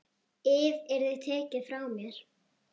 ið yrði tekið frá mér.